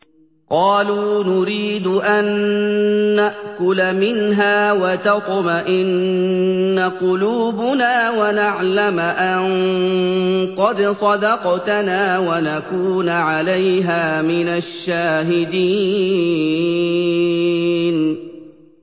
قَالُوا نُرِيدُ أَن نَّأْكُلَ مِنْهَا وَتَطْمَئِنَّ قُلُوبُنَا وَنَعْلَمَ أَن قَدْ صَدَقْتَنَا وَنَكُونَ عَلَيْهَا مِنَ الشَّاهِدِينَ